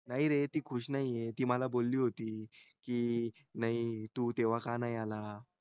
नाही रे ती खुश नाही होती ती मला बोली होती तू तेव्हा का नाही का नाही आला